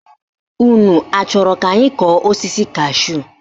Unu achọrọ ka anyị kọọ osisi kashúù?